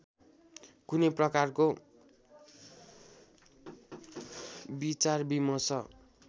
कुनै प्रकारको विचारविमर्श